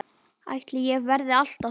Ætli ég verði alltaf svona?